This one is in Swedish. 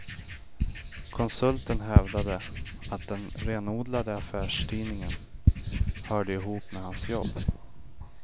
Konsulten hävdade att den renodlade affärstidningen hörde ihop med hans jobb.